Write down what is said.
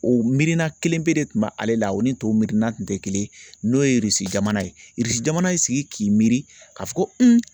O miirina kelen pen de tun bɛ ale la o ni tɔw mirina tun tɛ kelen ye n'o ye jamana ye jamana y'i sigi k'i miiri ka fɔ ko